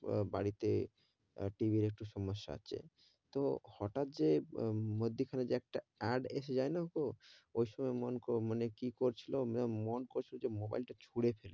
বাড়ি তে TV র একটু সমস্যা আছে, তো হটাত যে মধ্যে খানে একটা adv এসে যাই না কো, ওই সময় মন, মানে কি করছিলো, মন করছিলো যে মোবাইল তা ছুড়ে,